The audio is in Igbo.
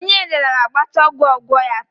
Onye nrịanrịa ga-agbacha ọgwụ ogwu ya taa